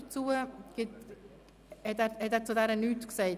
Oder hat er dazu nichts gesagt?